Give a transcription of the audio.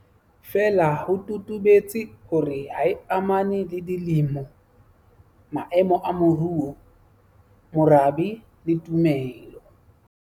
Feela ho totobetse hore ha e amane le dilemo, maemo a moruo, morabe le tumelo.